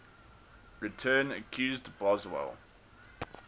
return accused boswell